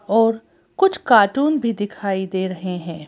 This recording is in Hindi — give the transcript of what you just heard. और कुछ कार्टून भी दिखाई दे रहे हैं।